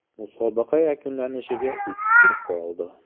Musobaqa yakunlanishiga uch tur qoldi.